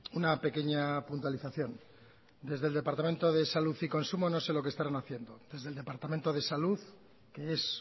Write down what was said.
una pequeña puntualización desde el departamento de salud y consumo no sé lo que estarán haciendo desde el departamento de salud que es